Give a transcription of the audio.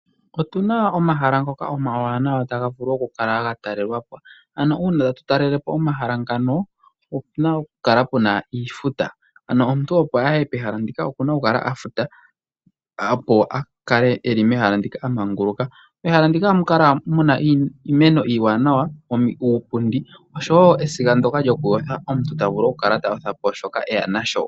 Otuna omahala ngoka omawanawa taga vulu okukala gatalelwa po. Ano uuna tatu talele po omahala ngaka opuna okukala puna iifuta. Ano omuntu opo aye pehala ndika okuna okukala afuta, opo a kale eli mehala ndika a manguluka. Mehala ndika ohamu kala muna, iimeno iiwanawa, uupundi oshowo esiga ndyoka lyokuyotha omuntu tavulu okukala tayotha po shoka eya nasho.